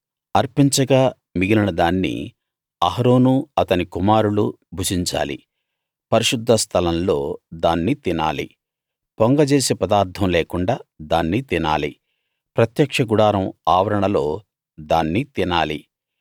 అర్పించగా మిగిలిన దాన్ని అహరోనూ అతని కుమారులూ భుజించాలి పరిశుద్ధ స్థలం లో దాన్ని తినాలి పొంగజేసే పదార్ధం లేకుండా దాన్ని తినాలి ప్రత్యక్ష గుడారం ఆవరణలో దాన్ని తినాలి